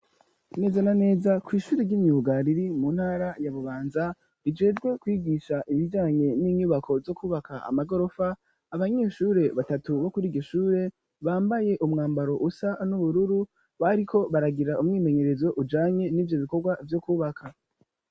neza na neza kw,ishure ry'imyuga riri mu ntara ya Bubanza rijejwe kwigisha ibijyanye n'inyubako zo kubaka amagorofa abanyeshure batatu bo kuri iryo shure bambaye umwambaro usa n'ubururu bariko baragira umwimenyerezo ujanye n'ivyo bikorwa vyo kubaka